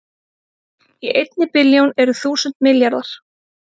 Í einni billjón eru þúsund milljarðar